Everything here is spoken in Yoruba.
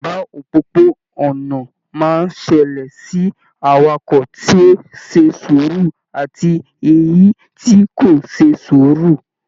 Ìjàmbá òpópó-ònà máa n ṣẹlẹ sí awakọ to ṣe sùúrù àti èyí tí kò ṣe sùúrù..